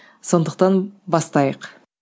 сондықтан бастайық